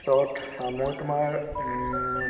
ত অ ময়ো তোমাৰ উম